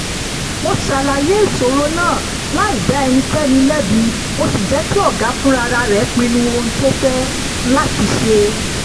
mo ṣàlàyé ìṣòro náà láì dá ẹnikẹ́ni lẹ́bi mo sì jẹ́ kí ọ̀gá fúnra rẹ̀ pinnu ohun tó máa ṣe